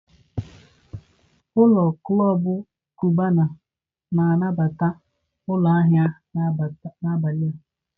ụlọ klọb Cubana na-anabata ụlọ ahịa n'abalị a.